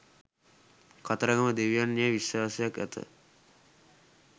කතරගම දෙවියන් යැයි විශ්වාසයක් ඇත